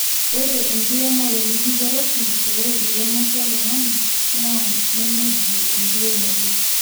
ore enkiremore niking`eroki pee iremoki oltung`ani naa nemeji enkiremore.